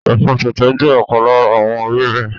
Ẹ̀fọ́ tẹ̀tẹ̀ jẹ́ ọ̀kan lára àwọn ewébẹ̀